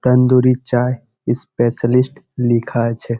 Tandoori chai specialist লিখা আছে।